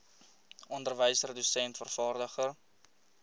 onderwyser dosent vervaardiger